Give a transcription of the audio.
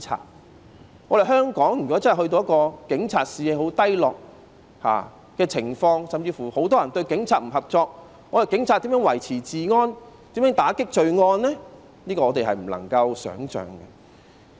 如果香港警察的士氣變得十分低落，甚至很多人不願與警察合作，警察如何維持治安、如何打擊罪案呢？